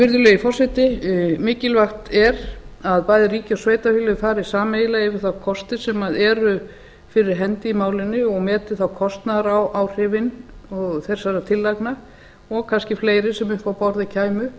virðulegi forseti mikilvægt er að bæði ríki og sveitarfélög fari sameiginlega yfir þá kosti sem eru fyrir hendi í málinu og meti þá kostnaðaráhrif þessara tillagna og kannski fleiri sem upp á borðið kæmu